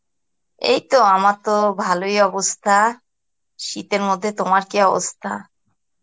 এই তো আমার তো ভালই অবস্থা, শীতের মধ্যে তোমার কি অবস্থা?